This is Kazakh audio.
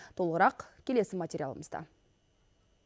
толығырақ келесі материалымызда